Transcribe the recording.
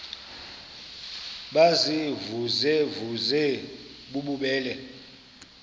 baziimvuze mvuze bububele